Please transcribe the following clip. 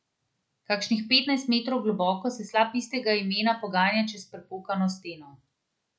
Kakšnih petnajst metrov globoko se slap istega imena poganja čez prepokano steno.